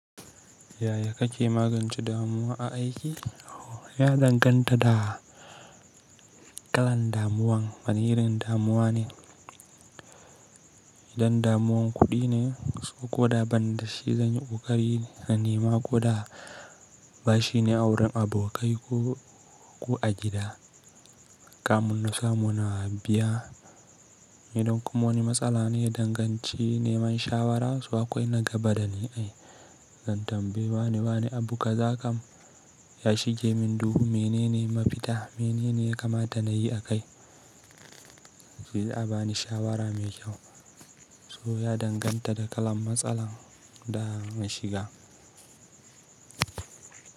Yaya kake magance damuwa a aiki? Ya danganta da kalan damuwan. Wani irin damuwa ne, idan damuwan kuɗi ne ko da ban da shi zanyi ƙoƙari na nema ko da ba shi ne a wurin abokai ko ku a gida. Kamun nasa muna habiya. Idan kuma wani matsala ne, daya danganci neman shawara. So akwai na gaba da ni ai. Zan tambayi wane-wane abu za kam yashi gemin duhu. Menene mafita? Menene ya kamata na yi a kai? Sai a bani shawara mai kyau. So ya danganta da kalan matsalar da na shiga.